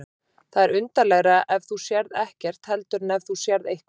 Það er undarlegra ef þú sérð ekkert heldur en ef þú sérð eitthvað.